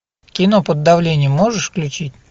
кино под давлением можешь включить